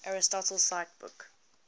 aristotle cite book